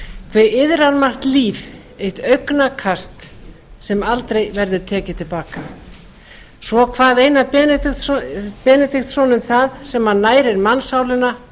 hve iðrar margt líf eitt augnakast sem aldrei verður tekið til baka svo kvað einar benediktsson um það sem nærir mannssálina